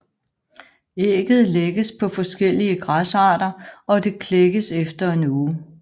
Ægget lægges på forskellige græsarter og det klækkes efter en uge